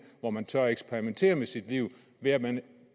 hvor man tør eksperimentere med sit liv ved at man